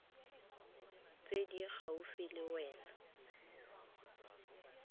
tse di gaufi le wena